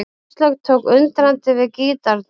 Áslaug tók undrandi við gítarnum.